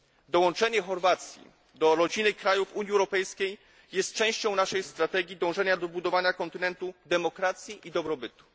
Dołączenie Chorwacji do rodziny krajów Unii Europejskiej jest częścią naszej strategii dążenia do budowania kontynentu demokracji i dobrobytu.